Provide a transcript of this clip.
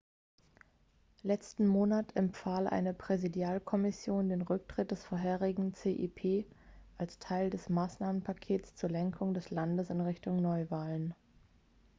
letzten monat empfahl eine präsidialkommission den rücktritt des vorherigen cep als teil des maßnahmenpakets zur lenkung des landes in richtung neuwahlen